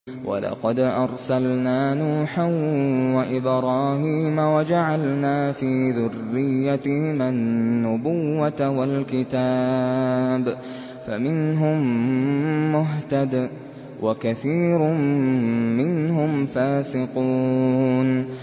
وَلَقَدْ أَرْسَلْنَا نُوحًا وَإِبْرَاهِيمَ وَجَعَلْنَا فِي ذُرِّيَّتِهِمَا النُّبُوَّةَ وَالْكِتَابَ ۖ فَمِنْهُم مُّهْتَدٍ ۖ وَكَثِيرٌ مِّنْهُمْ فَاسِقُونَ